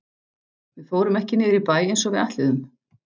Við fórum ekki niður í bæ eins og við ætluðum.